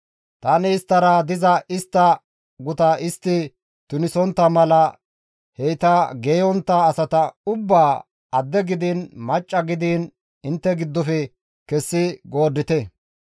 Tani isttara diza istta guta istti tunisontta mala heyta geeyontta asata ubbaa adde gidiin macca gidiin intte giddofe kessi gooddite.»